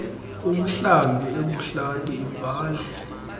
umhlambi ebuhlanti ivale